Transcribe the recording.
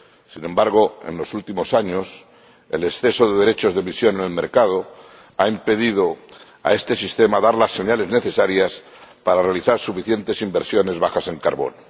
Sin embargo, en los últimos años, el exceso de derechos de emisión en el mercado ha impedido a este régimen dar las señales necesarias para realizar suficientes inversiones bajas en carbono.